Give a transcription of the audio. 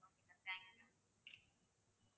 okay mam thank you mam